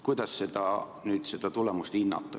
Kuidas seda tulemust hinnata?